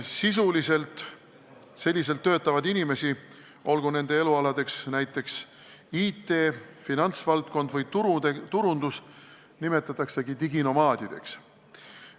Sel viisil töötavaid inimesi – olgu nende tegevusalaks IT, finantsvaldkond või turundus – nimetataksegi diginomaadideks.